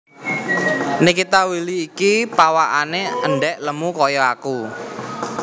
Nikita Willy iki pawakane endhek lemu koyok aku